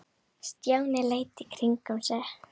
Stjáni leit í kringum sig.